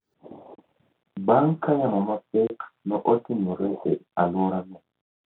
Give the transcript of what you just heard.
bang’ ka yamo mapek notimore e alworano.